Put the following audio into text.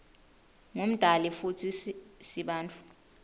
ngumdali futsi sibantfu